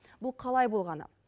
бұл қалай болғаны